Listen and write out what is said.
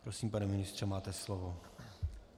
Prosím, pane ministře, máte slovo.